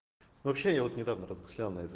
вообще я вот недавно размышлял на эту